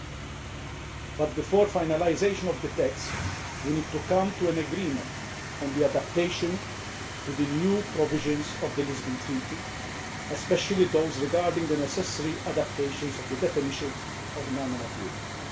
However, before finalisation of the text, we need to come to an agreement on the adaptation to the new provisions of the Lisbon Treaty, especially those regarding the necessary adaptations of the definition of nanomaterials.